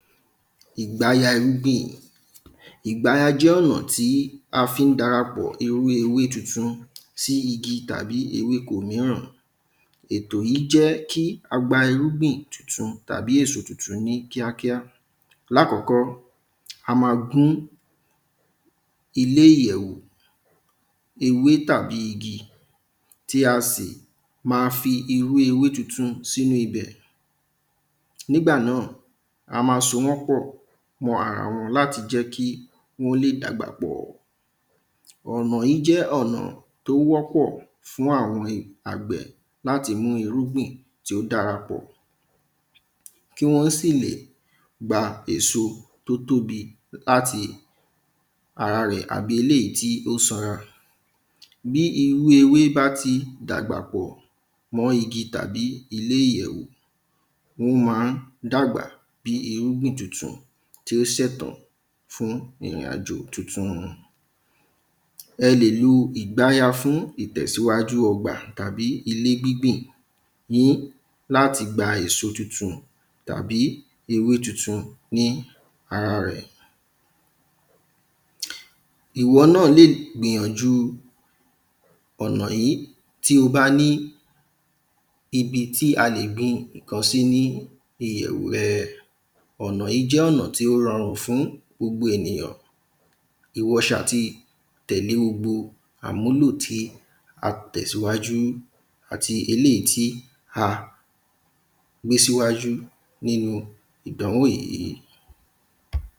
Ìgbáya jẹ́ ọ̀nà tí a fi ń dara pọ̀ ewé ewé tuntun sí igi tàbí ewéko ìmìíràn Ètò yìí jẹ́ kí á gba irúgbìn tuntun tàbí èso tuntun ní kíákíá Ní àkọ́kọ́ a máa gún ilé ìyẹ̀wò ewé tàbí igi tí a sì ma fi ewé ewé tuntun sí inú ibẹ̀ Nígbà náà a máa so wọ́n pọ̀ mọ́ ara wọn láti jẹ́ kí wọ́n lè dàgbà pọ̀ Ọ̀nà yìí jẹ́ ọ̀nà tí ó wọ́pọ̀ fún àwọn àgbẹ̀ láti mú irúgbìn tí ó darapọ̀ Kí wọ́n sì lè gba èso tí ó tóbi láti ara rẹ̀ àbí eléyì tí ó sanra Bí irú ewé bá ti dàgbà pọ̀ mọ́ igi tàbí ilé ìyẹ̀wò ó máa ń dàgbà bíi irúgbìn tutun tí ó ṣẹ̀ tọ́ fún ìrìnàjò tuntun Ẹ lè lu ìgbayà fún ìtẹ̀síwájú ọgbà tàbí ewé gbígbìn yín láti gba èso tuntun tàbí ewé tuntun ní ara rẹ̀ Ìwọ náà lè gbìyànjú ọ̀nà yìí tí o bá ní ibi tí a lè gbin nǹkan sí ní ìyẹ̀wò rẹ Ọ̀nà yìí jẹ́ ọ̀nà tí ó rọrùn fún gbogbo ènìyàn Ìwọ ṣáà ti tẹ̀lé gbogbo àmúlò tí a tẹ̀ sí iwájú àti eléyì tí a gbé sí iwájú nínú ìdánwò yìí